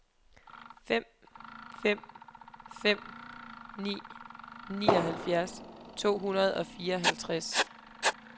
fem fem fem ni nioghalvfjerds to hundrede og fireoghalvtreds